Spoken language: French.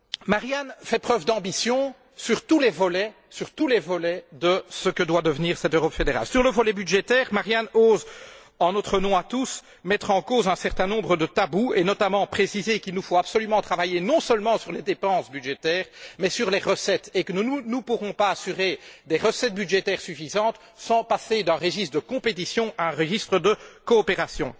Marianne Thyssen fait preuve d'ambition sur tous les volets de ce que doit devenir cette Europe fédérale. Concernant le volet budgétaire, Marianne Thyssen ose, en notre nom à tous, mettre en cause un certain nombre de tabous et, notamment, préciser qu'il nous faut absolument travailler non seulement sur les dépenses budgétaires, mais également sur les recettes, et que nous ne pourrons pas assurer des recettes budgétaires suffisantes sans passer d'un registre de compétition à un registre de coopération.